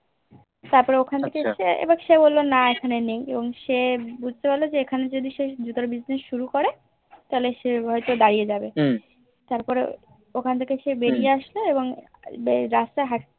তারপরে ওখান থেকে এসে এবার সে বললো না এখানে নেই এবং সে বুজতে পারলো যে এখানে যদি কোনো জুতোর দোকান হাক্ত Business শুরু করে তাহলে সে হয়ে তো দাঁড়িয়ে হবে তারপর ওখান থেকে স বেরিয়ে আসে এওবং রাস্তায় হাতে